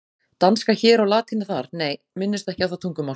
Danska hér og latína þar, nei, minnumst ekki á það tungumál.